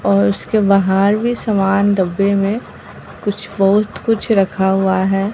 और उसके बाहर भी समान डब्बे में कुछ बहुत कुछ रखा हुआ है।